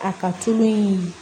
A ka tulu in